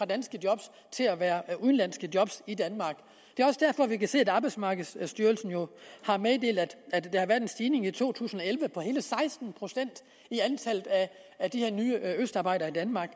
danske job til at være udenlandske job i danmark det er også derfor vi kan se at arbejdsmarkedsstyrelsen jo har meddelt at at der har været en stigning i to tusind og elleve på hele seksten procent i antallet af de her nye østarbejdere i danmark